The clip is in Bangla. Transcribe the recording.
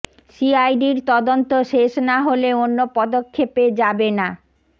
সিআইডির তদন্ত শেষ না হলে অন্য পদক্ষেপে যাবে না